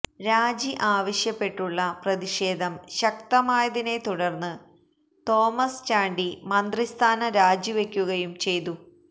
രാജി ആവശ്യപ്പെട്ടുള്ള പ്രതിഷേധം ശക്തമായതിനെത്തുടര്ന്ന് തോമസ് ചാണ്ടി മന്ത്രിസ്ഥാനം രാജിവെയ്ക്കുകയും ചെയ്തു